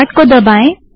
start को दबायें